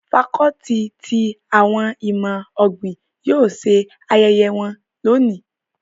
Facọluti ti awọn imọ-ogbin yóò ṣe ayẹyẹ wọn loni